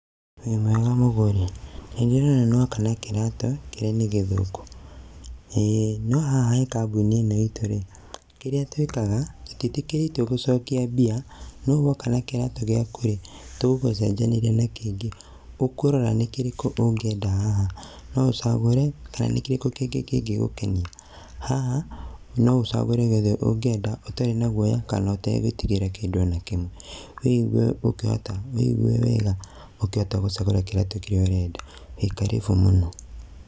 Wĩmwega mũgũri? Nĩndĩrona nĩwoka na kĩratũ, kĩrĩa nĩ gĩthũku. Ĩĩ, no haha harĩ kambuni ĩno itũ-rĩ, kĩrĩa twĩkaga, tũtiĩtĩkĩrĩtio gũcokia mbia, no woka na kĩratũ gĩaku-rĩ, tũgũgũcenjanĩria na kĩngĩ, ũkũrora nĩ kĩrĩkũ ũngĩenda haha, no ũcagũre, kana nĩ kĩrĩkũ kĩngĩ kĩngĩgũkenia. Haha, no ũcagũre gĩothe ũngĩenda, ũtarĩ na guoya, kana ũtagwĩtigĩra kĩndũ o na kĩmwe. Wĩ igue ũkĩhota, wĩigue wega, ũkĩhota gũcagũra kĩratũ kĩrĩa ũrenda, wĩ karibu mũno